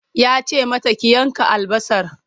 Ya ce mata ki yanka albasar!